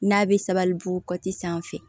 N'a bɛ sabalibugu kɔti sanfɛ